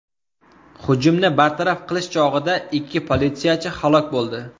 Hujumni bartaraf qilish chog‘ida ikki politsiyachi halok bo‘ldi.